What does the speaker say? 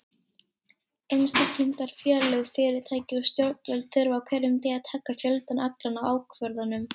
Einstaklingar, félög, fyrirtæki og stjórnvöld þurfa á hverjum degi að taka fjöldann allan af ákvörðunum.